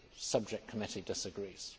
subject committee disagrees.